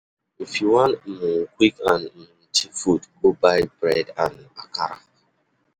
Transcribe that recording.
If you wan um quick and um cheap food, go buy bread and akara.